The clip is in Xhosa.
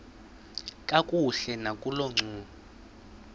kakuhle nakolo ncumo